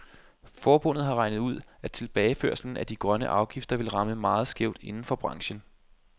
Forbundet har regnet ud, at tilbageførslen af de grønne afgifter vil ramme meget skævt inden for branchen.